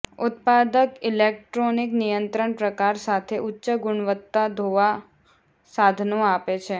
ઉત્પાદક ઇલેક્ટ્રોનિક નિયંત્રણ પ્રકાર સાથે ઉચ્ચ ગુણવત્તા ધોવા સાધનો આપે છે